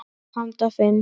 Handa fimm